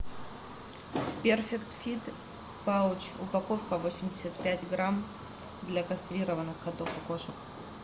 перфект фит пауч упаковка восемьдесят пять грамм для кастрированных котов и кошек